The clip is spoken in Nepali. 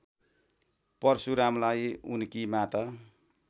परशुरामलाई उनकी माता